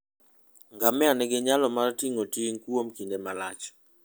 Ngamia nigi nyalo mar ting'o ting' kuom kinde malach.